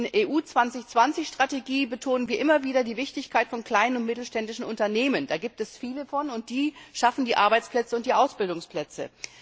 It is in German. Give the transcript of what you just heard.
In der EU 2020 Strategie betonen wir immer wieder die Wichtigkeit von kleinen und mittelständischen Unternehmen. Davon gibt es viele, und die schaffen die Arbeitsplätze und die Ausbildungsplätze.